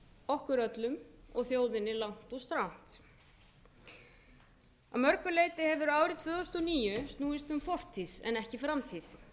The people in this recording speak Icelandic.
okkur öllum og þjóðinni langt og strangt að mörgu leyti hefur árið tvö þúsund og níu snúist um fortíð en ekki framtíð